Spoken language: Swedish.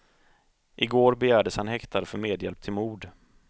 I går begärdes han häktad för medhjälp till mord.